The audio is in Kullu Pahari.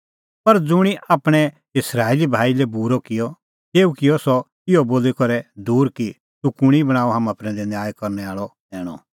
पर ज़ुंणी आपणैं इस्राएली भाई लै बूरअ किअ तेऊ किअ सह इहअ बोली करै दूर कि तूह कुंणी बणांअ हाम्हां प्रैंदै न्याय करनै आल़अ सैणअ